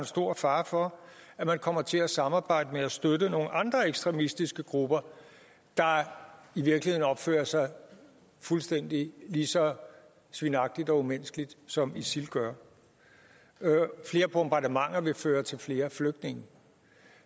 stor fare for at man kommer til at samarbejde med og støtte nogle andre ekstremistiske grupper der i virkeligheden opfører sig lige så svinagtigt og umenneskeligt som isil gør og flere bombardementer vil føre til flere flygtninge